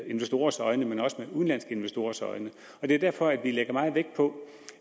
investorers øjne men også med udenlandske investorers øjne det er derfor at vi lægger meget vægt på